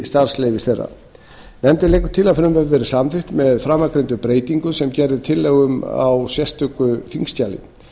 starfsleyfis þeirra nefndin leggur til að frumvarpið verði samþykkt með framangreindum breytingum sem gerð er tillaga um í sérstöku þingskjali